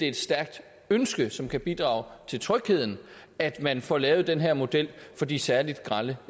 et stærkt ønske som kan bidrage til trygheden at man får lavet den her model for de særlig grelle